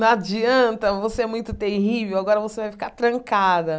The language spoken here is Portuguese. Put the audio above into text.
Não adianta, você é muito terrível, agora você vai ficar trancada.